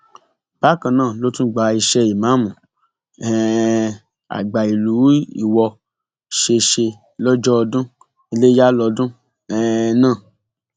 bákan náà ló tún gba iṣẹ ìmáàmù um àgbà ìlú iwọ ṣe ṣe lọjọ ọdún iléyà lọdún um náà